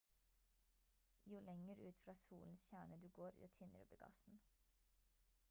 jo lenger ut fra solens kjerne du går jo tynnere blir gassen